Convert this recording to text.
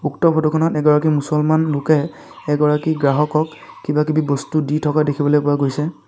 উক্ত ফটো খনৰ এগৰাকী মুছলমান লোকে এগৰাকী গ্ৰাহকক কিবা-কিবি বস্তু দি থকা দেখিবলৈ পোৱা গৈছে।